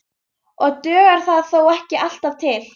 Og dugar það þó ekki alltaf til.